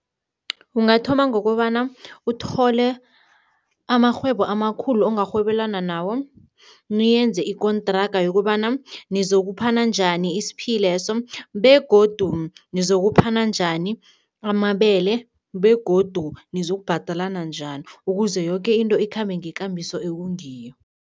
Ungathoma ngokobana uthole amarhwebo amakhulu ongarhwebelana nawo, niyenze ikontraga yokobana nizokuphana njani isiphileso begodu nizokuphana njani amabele begodu nizokubhadalana njani, ukuze yoke into ikhambe ngekambiso ekungiyo.